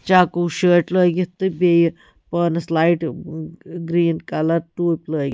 .ٹوٗپۍ لٲگِتھ green colour لٲگِتھ تہٕ بیٚیہِ پانس لایٹ چکو شٲٹ